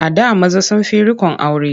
A da maza sun fi riƙon aure.